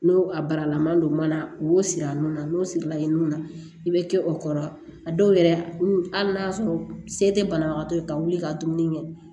N'o a barala man don o mana o y'o siri nun na n'o siri la ye nun na i bɛ kɛ o kɔrɔ a dɔw yɛrɛ hali n'a y'a sɔrɔ se tɛ banabagatɔ ye ka wuli ka dumuni kɛ